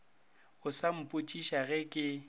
o sa mpotšiša ge ke